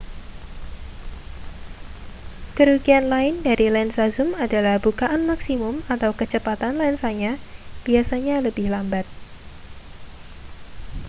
kerugian lain dari lensa zum adalah bukaan maksimum kecepatan lensanya biasanya lebih lambat